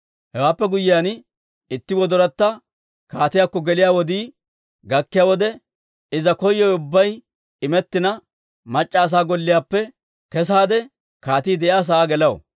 Hewaappe guyyiyaan, itti gellayatta kaatiyaakko geliyaa wodii gakkiyaa wode, Iza koyowe ubbay immetina, mac'c'a asaa golliyaappe kesaade, kaatii de'iyaa sa'aa gelaw.